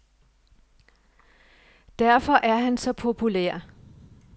Derfor er han så populær.